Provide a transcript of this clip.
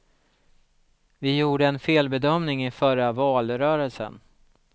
Vi gjorde en felbedömning i förra valrörelsen.